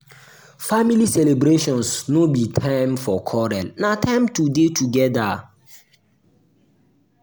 family celebrations no be time for quarrel na time to dey together.